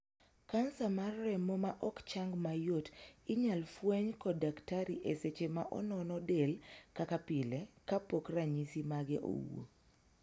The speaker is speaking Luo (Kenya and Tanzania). Kansa mar remo ma ok chang mayot inyal fweny kod daktari e seche ma onono del kaka pile ka pok ranyisi mage owuo.